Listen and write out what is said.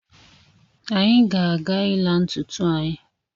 Anyị ga-aga ịla ntụtụ anyi